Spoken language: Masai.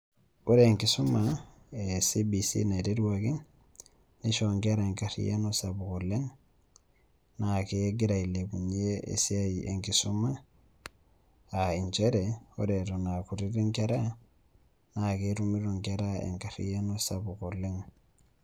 Ore enkisuma e CBC naiteruaki neishoo inkera enkaryiano sapuk oleng naa kegira ailepunye esiai enkisoma a nchere, ore eton a kutiti inkera naa ketumito inkera enkaryiano sapuk oleng.